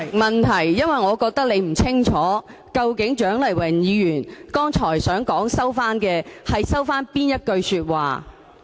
代理主席，我覺得你並不清楚蔣麗芸議員剛才表示收回的，究竟是哪一句說話。